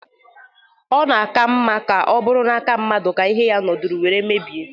Ona-aka mma ka o buru n'aka mmadu ka ihe ya noro were mebie.